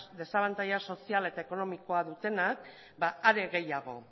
desabantaila soziala eta ekonomikoa dutenak are gehiago